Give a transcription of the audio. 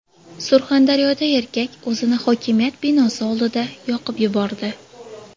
Surxondaryoda erkak o‘zini hokimiyat binosi oldida yoqib yubordi .